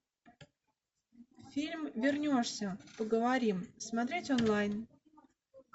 фильм вернешься поговорим смотреть онлайн